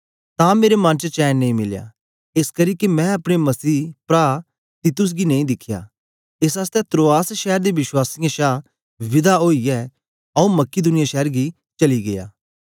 तां मेरे मन च चैन नेई मिलया एसकरी के मैं अपने मसीह प्रा तीतुस गी नेई दिखया एस आसतै त्रोआस शैर दे वश्वासीयें शा विदा ओईयै आंऊँ मकिदुनिया शैर गी चली गीया